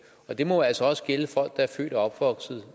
og det må jo altså også gælde folk der er født og opvokset